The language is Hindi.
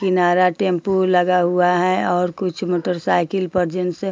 किनारा टेंपु लगा हुआ है और कुछ मोटर साईकिल पर जिनसे --